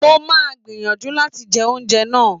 Mo máa gbìyànjú láti jẹ oúnjẹ náà